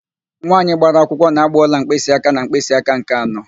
Nwaanyị gbara akwụkwọ na-ágbà ọla mkpịsịáká na mkpịsịáká nke anọ.